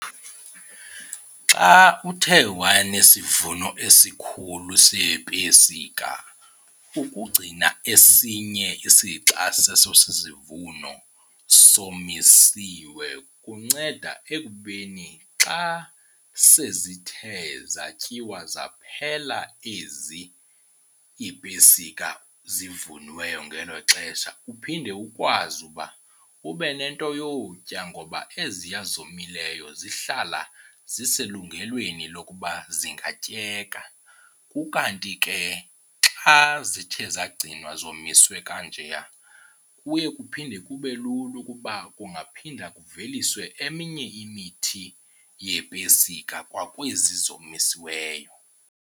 Xa uthe wanesivuno esikhulu seepesika ukugcina esinye isixa seso sisivuno somisiwe kunceda ekubeni xa sezithe zatyiwa zaphela ezi iipesika zivuniweyo ngelo xesha uphinde ukwazi uba ube nento yotya ngoba eziya zomileyo zihlala ziselungelweni lokuba zingatyeka. Ukanti ke xa zithe zagcinwa zomiswe kanjeya kuye kuphinde kube lula ukuba kungaphinda kuveliswe eminye imithi yeepesika kwakwezi zomisiweyo.